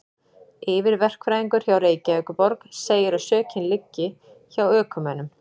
Yfirverkfræðingur hjá Reykjavíkurborg segir að sökin liggi hjá ökumönnum.